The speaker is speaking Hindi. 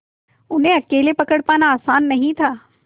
उन्हें अकेले पकड़ पाना आसान नहीं था